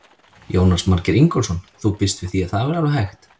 Jónas Margeir Ingólfsson: Þú býst við því að það verði alveg hægt?